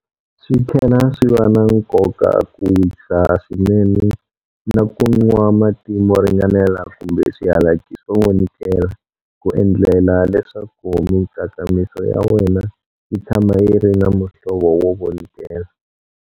Switlhela swi va na nkoka ku wisa swinene na ku nwa mati mo ringanela kumbe swihalaki swo vonikela ku endlela leswaku mitsakamiso ya wena yi tshama yi ri na muhlovo wo vonikela.